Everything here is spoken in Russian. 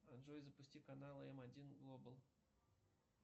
джой запусти каналы м один глобал